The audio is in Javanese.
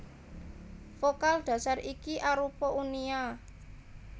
Vokal dhasar iki arupa uni a